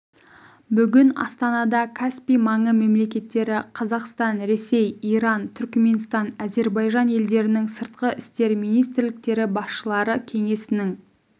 бүгін астанада каспий маңы мемлекеттері қазақстан ресей иран түрікменстан әзербайжан елдерінің сыртқы істер министрліктері басшылары кеңесінің